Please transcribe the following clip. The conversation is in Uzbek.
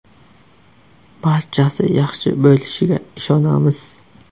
Barchasi yaxshi bo‘lishiga ishonamiz.